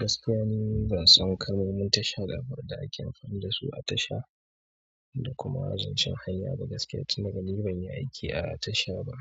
Gaskiya ni ban san kalmomin tasha min tasha da ake amfani da su a tasha da kuma zancen hanya ba gaskiya tunda dai ni ban yi aiki a tasha ba.